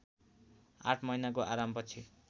आठ महिनाको आरामपछि